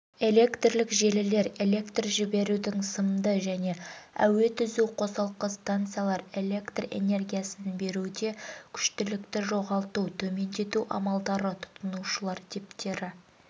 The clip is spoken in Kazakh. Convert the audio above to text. электрлік желілер электр жіберудің сымды және әуе түзу қосалқы станциялар электроэнергиясын беруде күштілікті жоғалтуды төмендету амалдары тұтынушылар типтері